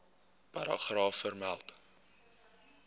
paragraaf vermeld